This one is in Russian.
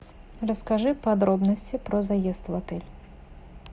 расскажи подробности про заезд в отель